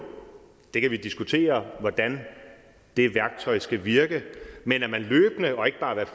vi kan diskutere hvordan det værktøj skal virke men at man løbende og ikke bare hvert